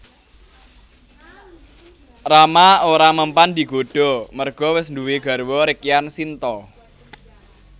Rama ora mempan digodha merga wis duwé garwa Rekyan Sinta